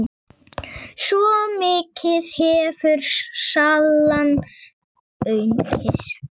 Svo mikið hefur salan aukist.